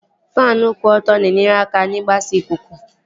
Faanụ kwụ ọtọ na-enyere aka n'igbasa ikuku